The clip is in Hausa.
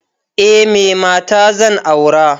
Eh, me mata zan aura.